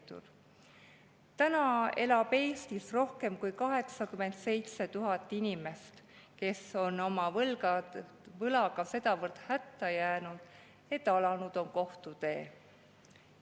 elab Eestis rohkem kui 87 000 inimest, kes on oma võlgadega sedavõrd hätta jäänud, et alanud on kohtutee.